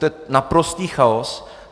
To je naprostý chaos.